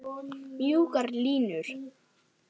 Mjúkar línur.